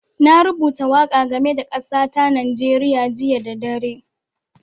Na rubuta waƙa game da kasa ta Nijeriya jiya da dare.